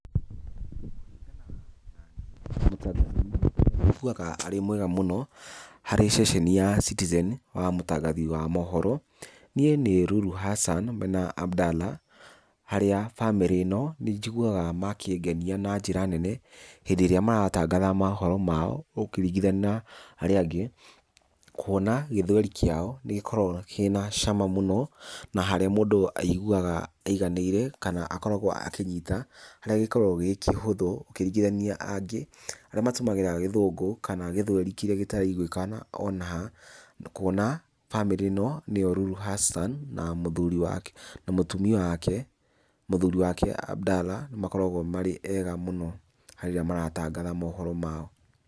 Kũringana na niĩ mũtangathi ũrĩa niĩ njiguaga arĩ mwega mũno harĩ ceceni ya Citizen wa maũtangathi wa maũhoro niĩ nĩ Lulu Hassan mena Abdalla, harĩa bamĩrĩ ĩno nĩ njiguaga makĩngenia na njĩra nene hĩndĩ ĩrĩa maratangatha maũhoro mao ũkĩringithania na arĩa angĩ. Kũona Gĩthweri kĩao nĩ gĩkoragwo kĩna cama mũno na harĩa mũndũ aiguaga aiganĩire kana akoragwo akĩnyita harĩa gĩkoragwo gĩ kĩhũthũ ũkĩringithania angĩ arĩa matũmagĩra Gĩthũngũ kana Gĩthweri kĩrĩa gĩtaraiguĩkana o na ha. Kũona, bamĩrĩ ĩno nĩo Lulu Hassan na mũthuri wake na mũtumia wake, mũthuri wake Abdalla makoragwo marĩ ega mũno harĩa maratangatha maũhoro mao.